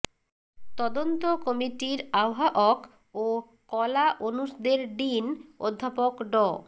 তদন্ত কমিটির আহ্বায়ক ও কলা অনুষদের ডিন অধ্যাপক ড